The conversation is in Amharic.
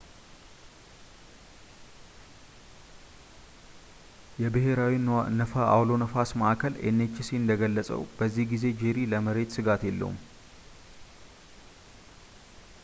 የብሔራዊ አውሎ ነፋሳት ማዕከል nhc እንደገለጸው በዚህ ጊዜ ጄሪ ለመሬት ሥጋት የለውም